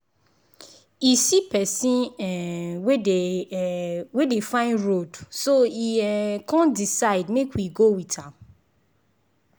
e see person um wey dey um wey dey find road so e um con decide make e waka go with am.